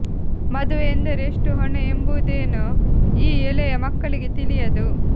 ಮದುವೆ ಎಂದರೆ ಎಷ್ಟು ಹೊಣೆ ಎಂಬುದೇನೂ ಈ ಎಳೆಯ ಮಕ್ಕಳಿಗೆ ತಿಳಿಯದು